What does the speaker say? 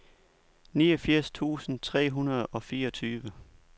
niogfirs tusind tre hundrede og fireogtyve